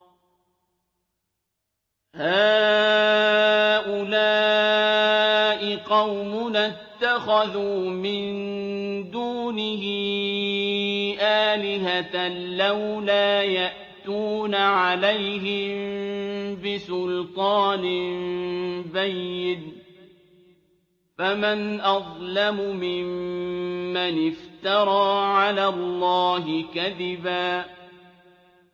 هَٰؤُلَاءِ قَوْمُنَا اتَّخَذُوا مِن دُونِهِ آلِهَةً ۖ لَّوْلَا يَأْتُونَ عَلَيْهِم بِسُلْطَانٍ بَيِّنٍ ۖ فَمَنْ أَظْلَمُ مِمَّنِ افْتَرَىٰ عَلَى اللَّهِ كَذِبًا